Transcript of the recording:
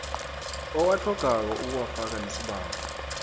owatlhogako ukuwafaka nesibawo